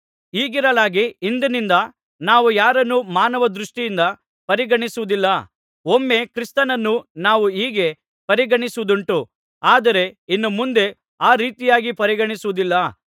ಹೀಗಿರಲಾಗಿ ಇಂದಿನಿಂದ ನಾವು ಯಾರನ್ನೂ ಮಾನವ ದೃಷ್ಟಿಯಿಂದ ಪರಿಗಣಿಸುವುದಿಲ್ಲ ಒಮ್ಮೆ ಕ್ರಿಸ್ತನನ್ನು ನಾವು ಹೀಗೇ ಪರಿಗಣಿಸಿದ್ದುಂಟು ಆದರೆ ಇನ್ನು ಮುಂದೆ ಆ ರೀತಿಯಾಗಿ ಪರಿಗಣಿಸುವುದಿಲ್ಲ